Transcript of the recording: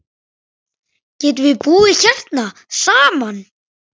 Við getum búið hérna saman.